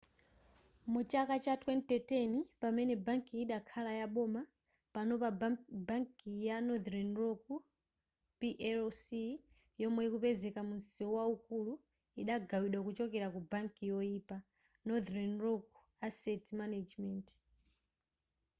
mu chaka cha 2010 pamene bankiyi idakhala yaboma panopa bankiyi ya northern rock plc yomwe ikupezeka mu mseu waukulu idagawidwa kuchokera ku ‘banki yoyipa’ northern rock asset management